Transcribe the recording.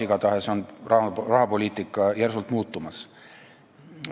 Igatahes USA-s on rahapoliitika järsult muutumas.